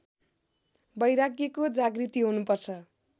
वैराग्यको जागृति हुनुपर्छ